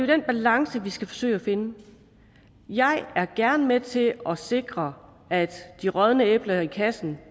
den balance vi skal forsøge at finde jeg er gerne med til at sikre at de rådne æbler i kassen